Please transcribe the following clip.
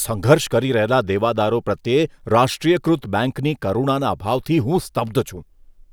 સંઘર્ષ કરી રહેલા દેવાદારો પ્રત્યે રાષ્ટ્રીયકૃત બેંકની કરુણાના અભાવથી હું સ્તબ્ધ છું.